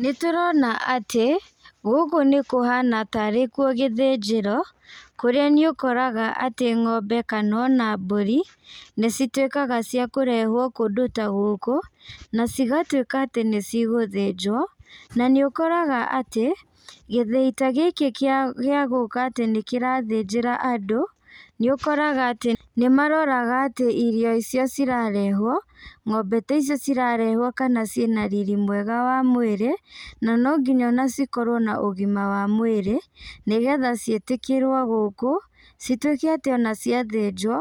Nĩtũrona atĩ, gũkũ nĩkũhana ta arĩ kũo gĩthĩnjĩro, kũrĩa nĩũkoraga atĩ ng'ombe kana ona mbũri, nĩcituĩkaga cia kũrehwo kũndũ ta gũkũ, na cigatuĩka atĩ nĩcigũthĩnjwo, na nĩũkoraga atĩ, gĩthiĩ ta gĩkĩ kĩa gĩa gũka atĩ nĩkĩrathĩnjĩra andũ, nĩũkoraga atĩ nĩmaroraga atĩ irio icio cirarehwo, ng'ombe ta icio cirarehwo kana ciĩna riri mwega wa mwĩra, na no nginya ona cikorwo na ũgima wa mwĩrĩ, nĩgetha ciĩtĩkĩrwo gũkũ, cituĩke atĩ ona ciathĩnjwo,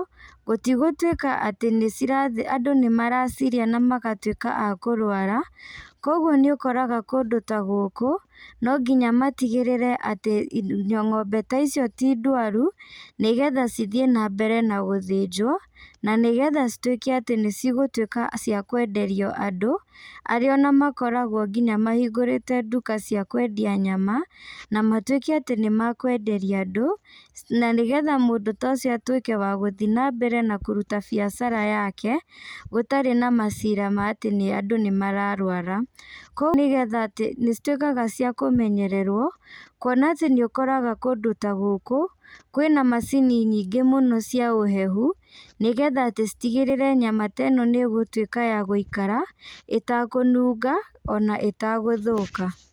gũtigũtuĩka atĩ nĩcira andũ nĩmaracirĩa namagatuĩka a kũrwara, koguo nĩũkoraga kũndũ ta gũkũ, no nginya matigĩrĩre atĩ ng'ombe ta icio ti ndaru, nĩgetha cithiĩ nambere na gũthĩnjwo, na nĩgetha cituĩke atĩ nĩcigũtuĩka cia kwenderio andũ, arĩa onamakoragwo nginya mahingũrĩte nduka cia kwendia nyama, na matuĩke atĩ nĩmakwenderia andũ, na nĩgetha mũndũ ta ũcio atuĩke wa gũthi nambere na kũruta biacara yake, gũtarĩ na macira ma atĩ nĩandũ nĩmararwara, koguo nĩgetha atĩ nĩcituĩkaga cia kũmenyererwo, kuona atĩ nĩũkoraga kũndũ ta gũkũ, kwĩna macini nyingĩ mũno cia ũhehu, nĩgetha atĩ citigĩrĩre nyama ta ĩno nĩgũtuĩka ya gũikara, ĩtakũnunga, ona ĩtagũthũka.